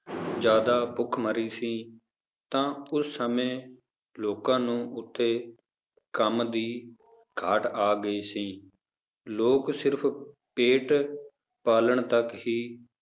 ਜ਼ਿਆਦਾ ਭੁਖਮਰੀ ਸੀ ਤਾਂ ਉਸ ਸਮੇਂ ਲੋਕਾਂ ਨੂੰ ਉੱਥੇ ਕੰਮ ਦੀ ਘਾਟ ਆ ਗਈ ਸੀ ਲੋਕ ਸਿਰਫ਼ ਪੇਟ ਪਾਲਣ ਤੱਕ ਹੀ